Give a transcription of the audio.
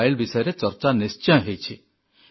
wild ବିଷୟରେ ଚର୍ଚ୍ଚା ନିଶ୍ଚୟ ହୋଇଛି